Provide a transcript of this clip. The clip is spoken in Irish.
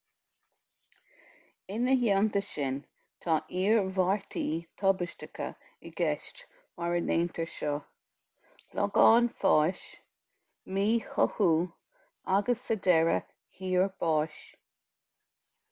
ina theannta sin tá iarmhairtí tubaisteacha i gceist mura ndéantar seo logán fáis míchothú agus sa deireadh thiar báis